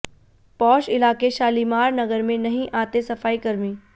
posh इलाके शालीमार नगर में नहीं आते सफाई कर्मी